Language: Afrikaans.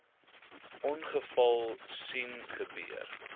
ongeval sien gebeur